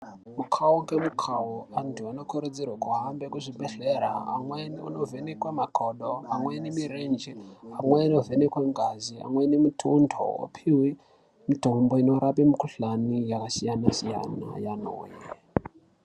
Mukhau ngemukhau antu anokurudzirwe kuhambe kuzvibhedhlera, amweni kunovhenekwa makodo, amweni mirenje, amweni ovhenekwe ngazi,, amweni mitundo, opihwe mitombo inorape mikhuhlani yakasiyana-siyana.